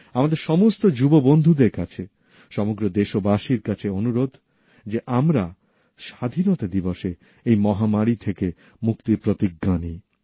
আমার সমস্ত যুবকযুবতী বন্ধুদের কাছে সমগ্র দেশবাসীর কাছে অনুরোধ যে আমরা স্বাধীনতা দিবসে এই মহামারী থেকে মুক্তির প্রতিজ্ঞা নিই